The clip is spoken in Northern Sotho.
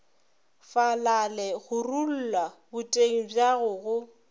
falale gorulla boteng bjago go